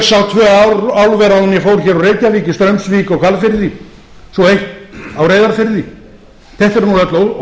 álver áður en ég fór úr reykjavík í straumsvík og hvalfirði svo eitt á reyðarfirði þetta eru nú öll